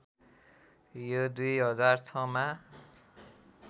यो २००६ मा